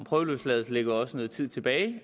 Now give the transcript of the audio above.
prøveløsladelse ligger jo også noget tid tilbage